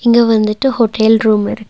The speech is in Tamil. இங்க வந்துட்டு ஹோட்டேல் ரூம் இருக்--